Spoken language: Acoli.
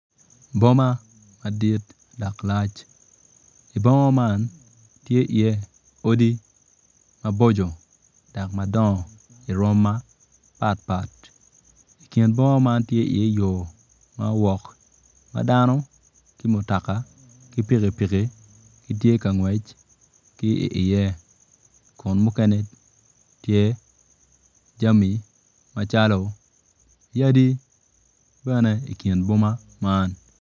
Boma madit dok lac i boma man tye iye odi mabocco dok madongo i rwom mapatpat i kin boma man tye iye yo ma dano ki mutoka ki pikipiki gitye ka ngwec ki iye kun mukene tye jami macalo yadi bene i kin boma man.